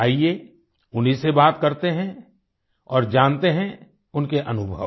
आईये उन्हीं से बात करते हैं और जानते हैं उनके अनुभव